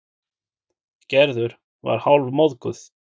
Gerður var hálfmóðguð.